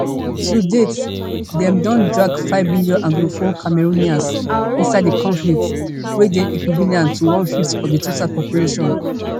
to date dem don drag five million anglophone cameroonians inside di conflict wey dey equivalent to onefifth of di total population